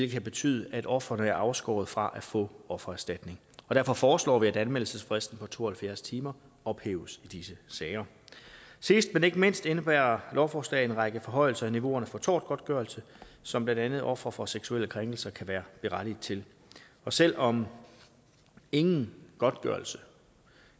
kan betyde at ofrene er afskåret fra at få offererstatning og derfor foreslår vi at anmeldelsesfristen på to og halvfjerds timer ophæves i disse sager sidst men ikke mindst indebærer lovforslaget en række forhøjelser af niveauerne for tortgodtgørelse som blandt andet ofre for seksuelle krænkelser kan være berettiget til og selv om ingen godtgørelse